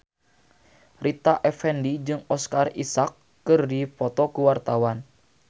Rita Effendy jeung Oscar Isaac keur dipoto ku wartawan